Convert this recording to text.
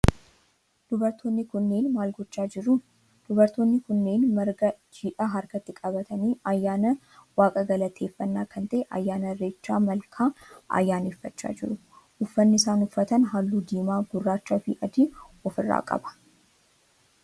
Dubartoonni kunneen maal godhaa jiruu? Dubartoonni kunneen marga jiidhaa harkatti qabatanii ayyaana waaqa galateeffannaa kan ta'e ayyaana irreecha malkaa ayyaaneffachaa jiru. Uffanni isaan uffatan halluu diimaa, gurraachaa fi adii of irraa qaba.